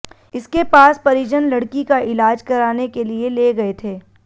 इसके पास परिजन लड़की का इलाज कराने के लिए ले गए थे